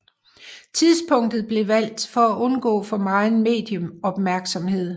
Tidspunktet blev valgt for at undgå for meget medieopmærksomhed